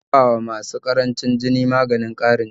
ana bawa masu ƙarancin jini maganin ƙarin jini